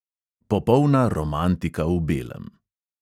Popolna romantika v belem.